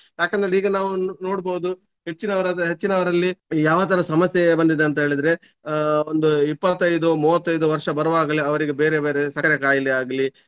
ಯಾಕಂದ್ರೆ ಈಗ ನಾವು ನೋಡ್ಬೋದು ಹೆಚ್ಚಿನವರು ಅದೇ ಹೆಚ್ಚಿನವರಲ್ಲಿ ಯಾವ ತರ ಸಮಸ್ಯೆ ಬಂದಿದಂತೇಳಿದ್ರೆ ಆಹ್ ಒಂದು ಇಪ್ಪತೈದು ಮೂವತ್ತೈದು ವರ್ಷ ಬರುವಾಗ್ಲೇ ಅವರಿಗೆ ಬೇರೆ ಬೇರೆ ಸಕ್ಕರೆ ಕಾಯಲೇ ಆಗ್ಲಿ ಅವರಿಗೆ ಅಹ್.